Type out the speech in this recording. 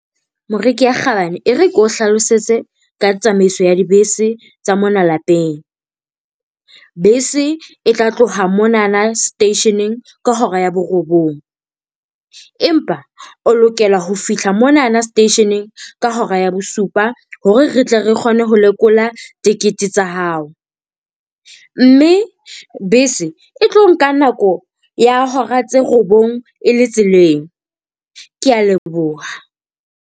Moreki ya kgabane, e re ke o hlalosetse ka tsamaiso ya dibese tsa mona lapeng. Bese e tla tloha monana seteisheneng ka hora ya borobong. Empa o lokela ho fihla monana seteisheneng ka hora ya bosupa hore re tle re kgone ho lekola tikete tsa hao, mme bese e tlo nka nako ya hora tse robong e le tseleng. Kea leboha.